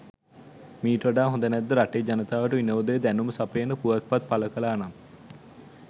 මීට වඩා හොඳ නැද්ද රටේ ජනතාවට විනෝදය දැනුම සපයන පුවත්පත් පළ කළා නම්?